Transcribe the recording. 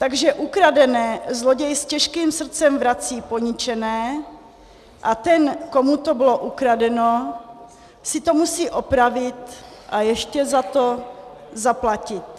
Takže ukradené zloděj s těžkým srdcem vrací poničené a ten, komu to bylo ukradeno, si to musí opravit a ještě za to zaplatit.